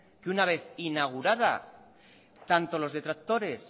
que una vez inaugurada tanto los detractores